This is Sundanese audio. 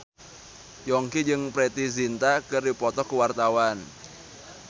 Yongki jeung Preity Zinta keur dipoto ku wartawan